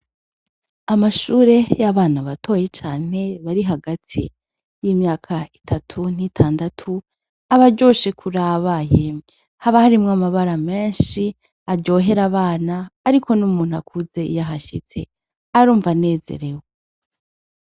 Amashure y'abana batoyi cane bari hagati y'imyaka itatu n'itandatu, aba aryoshe kuraba yemwe. Haba harimwo amabara menshi aryohera abana, ariko n'umuntu akuze iyo ahashitse, arumva anezerewe.